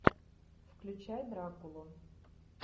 включай дракулу